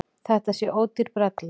Þetta sé ódýr brella.